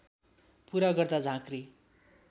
पूरा गर्दा झाँक्री